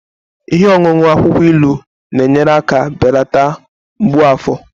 Ihe ọṅụṅụ akwukwo ilu na-enyere aka belata mgbu afọ